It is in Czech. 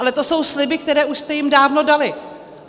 Ale to jsou sliby, které už jste jim dávno dali.